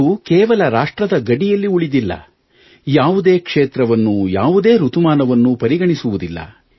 ಇದು ಕೇವಲ ರಾಷ್ಟ್ರದ ಗಡಿಯಲ್ಲಿ ಉಳಿದಿಲ್ಲ ಯಾವುದೇ ಕ್ಷೇತ್ರವನ್ನು ಯಾವುದೇ ಋತುಮಾನವನ್ನು ಪರಿಗಣಿಸುವುದಿಲ್ಲ